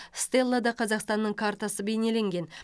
стеллада қазақстанның картасы бейнеленген